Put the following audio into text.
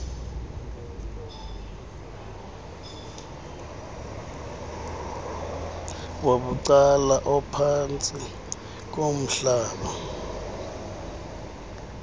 wabucala ophantsi komhlaba